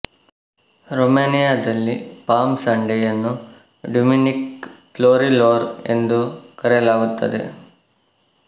ರೋಮೆನಿಯಾದಲ್ಲಿ palm Sunday ಯನ್ನು ಡ್ಯುಮಿನಿಕ ಫ್ಲೋರಿಲೋರ್ ಎಂದು ಕರೆಯಲಾಗುತ್ತದೆ